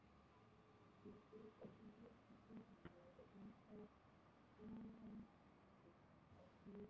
Í fyrstu viku desember blandast ofankoma og skafrenningur á heiðinni.